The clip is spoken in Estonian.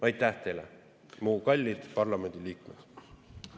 Aitäh teile, mu kallid parlamendiliikmed!